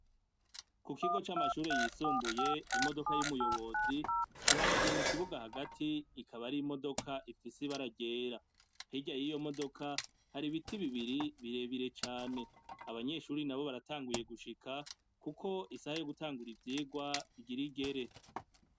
Ku kigo c'amashure yisumbuye imodoka y'umuyobozi ihagaze mu kibuga hagati ikaba ari imodoka ifise ibara gera, hirya y'iyo modoka hari ibiti bibiri birebire cane, abanyeshuri na bo baratanguye gushika, kuko isahe yo gutangura ivyirwa igira igere.